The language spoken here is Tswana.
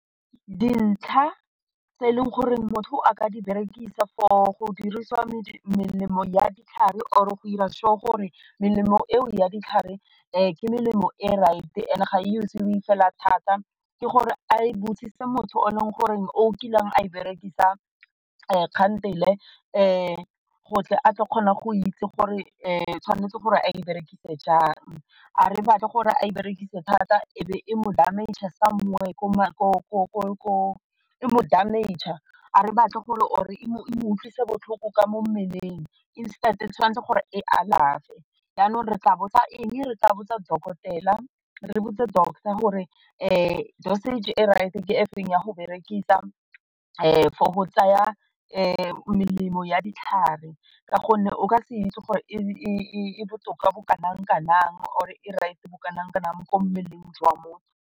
Dintlha tse e leng gore motho a ka di berekisa for go dirisiwa ditlhare or go dira sure gore melemo eo ya ditlhare ke melemo e right and ga e fela thata ke gore a e botsise motho o e leng gore o kileng a e berekisa kgantele gore a tla kgona go itse gore tshwanetse gore a e berekise jang a re batle gore a berekise thata e be e mo damage somewhere a re batle gore or e mo e mo utlwise botlhoko ka mo mmeleng instead e tshwanetse gore e alafe janong re tla botsa eng, re tla botsa dokotela re botse doctor gore dosage e right ke efeng ya go berekisa for go tsaya melemo ya ditlhare ka gonne o ka se itse gore e botoka bo kana-kanang gore e right bo kanakanang mo go mmeleng jwa motho.